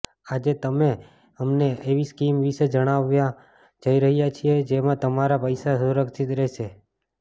આજે અમે તમને એવી સ્કીમ વિશે જણાવવા જઈ રહ્યાં છીએ જેમાં તમારા પૈસા સુરક્ષિત રહેશે